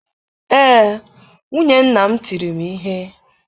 Ee, nwunye nna m tiri m ihe.